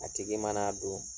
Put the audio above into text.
A tigi man'a don